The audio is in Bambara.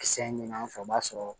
Kisɛ ɲini an fɛ o b'a sɔrɔ